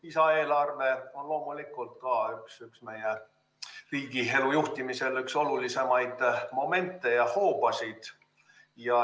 Lisaeelarve on loomulikult riigielu juhtimisel üks olulisemaid momente ja hoobasid.